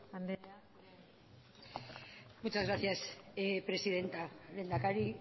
anderea muchas gracias presidenta lehendakari